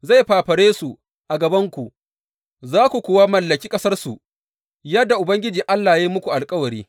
Zai fafare su a gabanku, za ku kuwa mallaki ƙasarsu, yadda Ubangiji Allah ya yi muku alkawari.